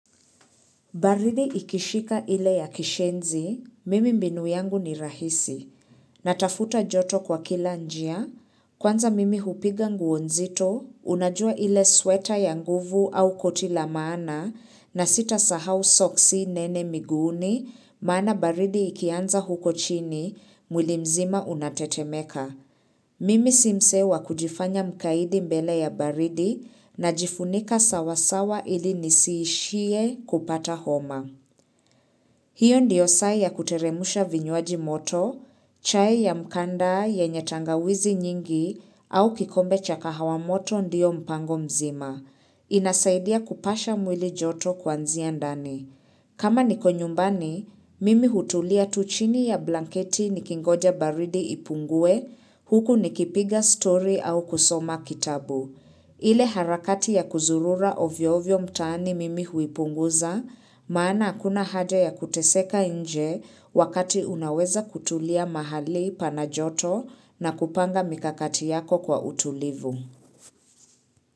Baridi ikishika ile ya kishenzi, mimi mbinu yangu ni rahisi, natafuta joto kwa kila njia, kwanza mimi hupiga nguo nzito, unajua ile sweta ya nguvu au koti la maana, na sitasahau soksi nene miguuni, maana baridi ikianza huko chini, mwili mzima unatetemeka. Mimi si mse wa kujifanya mkaidi mbele ya baridi najifunika sawasawa ili nisiishie kupata homa. Hiyo ndiyo saa ya kuteremsha vinywaji moto, chai ya mkanda yenye tangawizi nyingi au kikombe cha kahawa moto ndio mpango mzima. Inasaidia kupasha mwili joto kuanzia ndani. Kama niko nyumbani, mimi hutulia tu chini ya blanketi nikingoja baridi ipungue, huku nikipiga stori au kusoma kitabu. Ile harakati ya kuzurura ovyo ovyo mtaani mimi huipunguza, maana hakuna haja ya kuteseka nje wakati unaweza kutulia mahali pana joto na kupanga mikakati yako kwa utulivu.